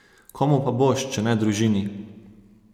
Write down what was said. Komu pa boš, če ne družini?